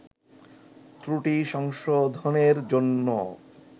ত্রুটি সংশোধনের জন্য